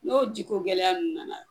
N'o jiko gɛlɛya ninnu nana